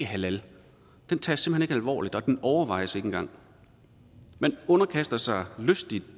halal tages simpelt alvorligt og den overvejes ikke engang man underkaster sig lystigt